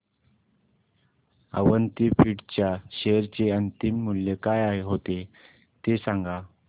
अवंती फीड्स च्या शेअर चे अंतिम मूल्य काय होते ते सांगा